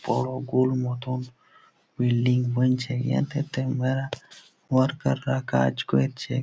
বড় গোল মতন বিল্ডিং বানছে ।এটাতে-তে মেলা ওয়ারকার -রা কাজ করছে।